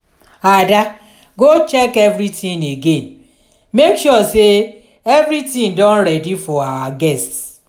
ada go check everything again make sure say everything don ready for our guests.